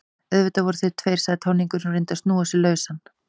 Auðvitað eru þeir tveir, sagði táningurinn og reyndi að snúa sig lausan.